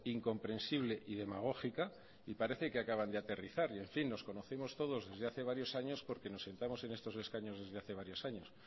incomprensible y demagógica y parece que acaban de aterrizar y en fin nos conocemos todos desde hace varios años porque nos sentamos en estos escaños desde hace varios años